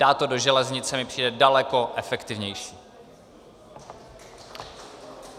Dát to do železnice mi přijde daleko efektivnější.